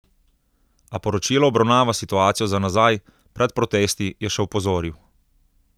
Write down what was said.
A poročilo obravnava situacijo za nazaj, pred protesti, je še opozoril.